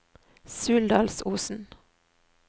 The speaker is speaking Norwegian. Suldalsosen